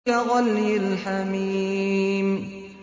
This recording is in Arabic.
كَغَلْيِ الْحَمِيمِ